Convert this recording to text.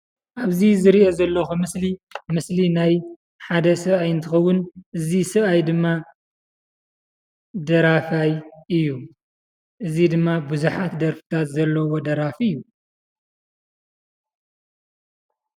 ኣብዚ ዝሪኦ ዘለኹ ምስሊ ምስሊ ናይ ሓደ ሰባኣይ እንትኸውን እዚ ሰባኣይ ድማ ደራፋይ እዩ። እዚ ድማ ቡዝሓት ደርፍታት ዘለዎ ደራፊ እዩ፡፡